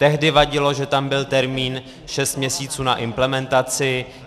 Tehdy vadilo, že tam byl termín šest měsíců na implementaci.